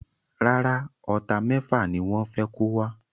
Rárá, Ọta méfà ni wọ́n fé kó wa